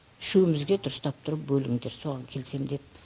үшеуімізге дұрыстап тұрып бөліңдер соған келісемін дедім